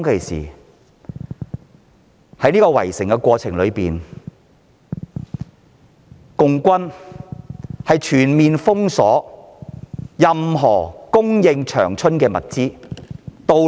在圍城的過程中，共軍全面封鎖長春的供應物資和道路。